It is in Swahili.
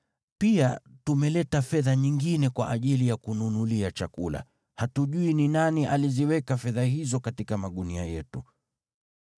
Pia tumeleta fedha nyingine kwa ajili ya kununulia chakula. Hatujui ni nani aliziweka fedha hizo katika magunia yetu.”